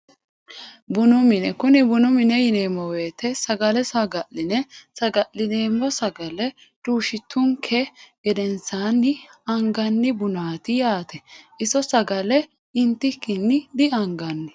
Buni mine kuni bunu mini yineemo woyiteno sagale sagaline sagalinoomo sagalae duushitunke gedensaani angani bunaati yaate iso sagale intikini diangani.